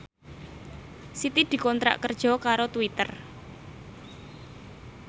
Siti dikontrak kerja karo Twitter